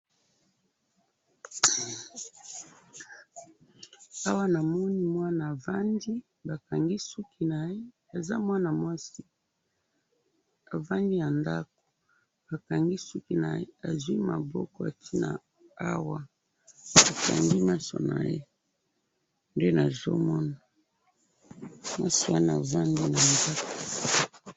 awa namoni mwana avandi bakangi suki naye, aza mwana mwasi avandi na ndaku, bakangi souki naye azwi maboko atiye yango awa, akangi maso naye nde nazomona mwasi yango afandi na kiti